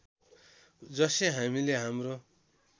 जसै हामीले हाम्रो